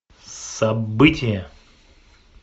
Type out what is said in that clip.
событие